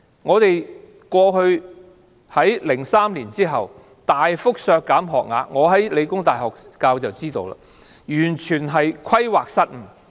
在2003年之後，政府大幅削減學額，我在香港理工大學任教，所以知道，政府完全規劃失誤......